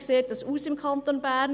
Wie sieht das aus im Kanton Bern?